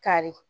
Kari